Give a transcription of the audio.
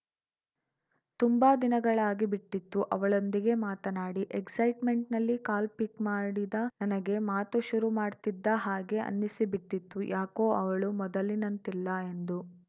ತುಂಬಾ ದಿನಗಳಾಗಿಬಿಟ್ಟಿತ್ತು ಅವಳೊಂದಿಗೆ ಮಾತನಾಡಿ ಎಕ್ಸೈಟ್‌ಮೆಂಟ್‌ನಲ್ಲಿ ಕಾಲ್‌ ಪಿಕ್‌ ಮಾಡಿದ ನನಗೆ ಮಾತು ಶುರು ಮಾಡ್ತಿದ್ದ ಹಾಗೆ ಅನ್ನಿಸಿಬಿಟ್ಟಿತ್ತು ಯಾಕೋ ಅವಳು ಮೊದಲಿನಂತಿಲ್ಲ ಎಂದು